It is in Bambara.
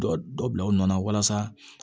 Dɔ dɔ bila u nɔ na walasa